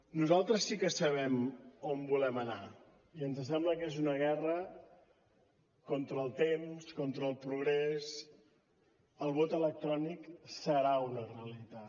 nosaltres sí que sabem on volem anar i ens sembla que és una guerra contra el temps contra el progrés el vot electrònic serà una realitat